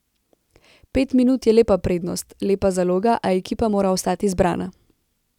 Pet minut je lepa prednost, lepa zaloga, a ekipa mora ostati zbrana.